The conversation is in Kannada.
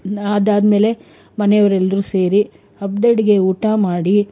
ಅದಾದ್ಮೇಲೆ ಮನೆಯವರೆಲ್ರು ಸೇರಿ, ಹಬ್ ದಡಿಗೆ ಊಟ ಮಾಡಿ,